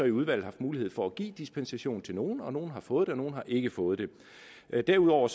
i udvalget haft mulighed for at give dispensation til nogle og nogle har fået det og nogle har ikke fået det derudover